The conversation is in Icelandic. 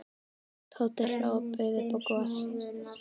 Tóti hló og bauð upp á gos.